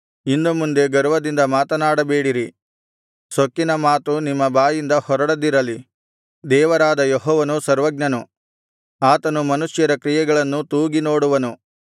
ಇನ್ನು ಮುಂದೆ ಗರ್ವದಿಂದ ಮಾತನಾಡಬೇಡಿರಿ ಸೊಕ್ಕಿನ ಮಾತು ನಿಮ್ಮ ಬಾಯಿಂದ ಹೊರಡದಿರಲಿ ದೇವರಾದ ಯೆಹೋವನು ಸರ್ವಜ್ಞನು ಆತನು ಮನುಷ್ಯರ ಕ್ರಿಯೆಗಳನ್ನು ತೂಗಿನೋಡುವನು